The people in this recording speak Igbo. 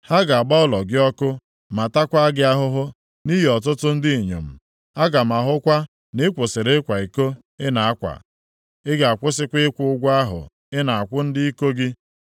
Ha ga-agba ụlọ gị ọkụ ma takwaa gị ahụhụ nʼihu ọtụtụ ndị inyom. Aga m ahụkwa na ị kwụsịrị ịkwa iko ị na-akwa, ị ga-akwụsịkwa ịkwụ ụgwọ ahụ ị na-akwụ ndị iko gị.